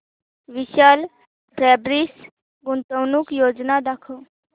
विशाल fabrics गुंतवणूक योजना दाखव